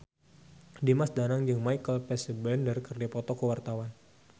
Dimas Danang jeung Michael Fassbender keur dipoto ku wartawan